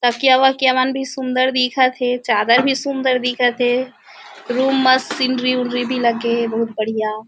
तकिया-वकिया मन भी सुन्दर दिखत हे चादर भी सुन्दर दिखत हे रूम म भी लगे हे बहुत बढ़िया।